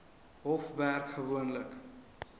hof werk gewoonlik